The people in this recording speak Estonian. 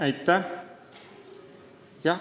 Aitäh!